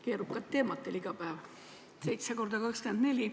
Keerukad teemad teil iga päev, 7 korda 24 ...